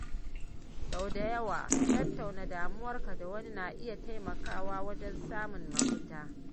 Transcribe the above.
Sau da yawa, tattauna damuwarka da wani na iya taimakawa wajen samun mafita.